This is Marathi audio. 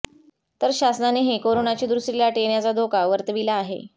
तर शासनानेही कोरोनाची दुसरी लाट येण्याचा धोका वर्तविला आहे